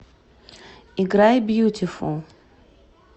играй бьютифул